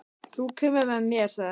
Þú kemur með mér, sagði hann.